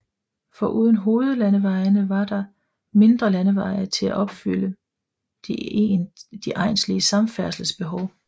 Foruden hovedlandeveje var der der mindre landeveje til at opfylde de egnslige samfærdselsbehov